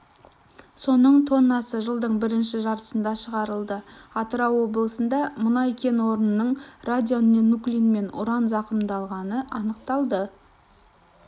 соның тоннасы жылдың бірінші жартысында шығарылды атырау облысында мұнай кен орнының радионуклидпен уран зақымдалғаны анықталды